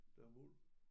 Der er muld